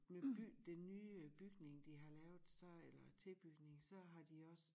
Med by det nye bygning de har lavet så eller tilbygning så har de også